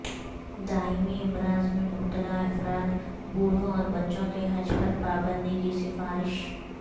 دائمی امراض میں مبتلا افراد بوڑھوں اور بچوں کے حج پر پابندی کی سفارش